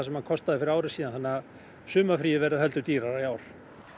hann kostaði fyrir ári síðan þannig að sumarfríið verður heldur dýrara í ár